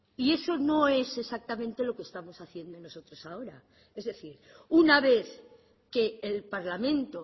y eso no es exactamente lo que estamos haciendo nosotros ahora es decir una vez que el parlamento